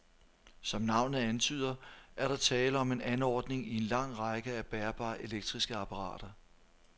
Som navnet antyder, er der tale om en anordning i en lang række af bærbare elektriske apparater.